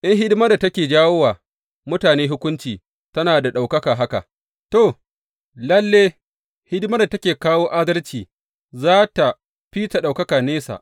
In hidimar da take jawo wa mutane hukunci tana da ɗaukaka haka, to, lalle, hidimar da take kawo adalci za tă fi ta ɗaukaka nesa!